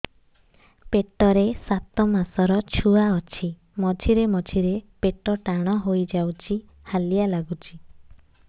ପେଟ ରେ ସାତମାସର ଛୁଆ ଅଛି ମଝିରେ ମଝିରେ ପେଟ ଟାଣ ହେଇଯାଉଚି ହାଲିଆ ଲାଗୁଚି